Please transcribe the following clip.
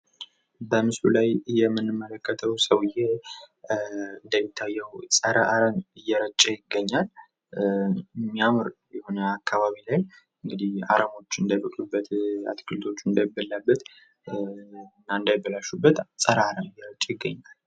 በምስሉ ላይ የምንመለከተው ሰውየ እንደሚታየው ጸረ-አረም እየረጨ ይገኛል። የሚያምር የሆነ አካባቢ ላይ እንግድህ አረሞች እንዳይበቅሉበት አትክልቶቹ እንዳይበሉበት እና እንዳይበላሹበት ጸረ-አረም እየረጨ ይገኛል።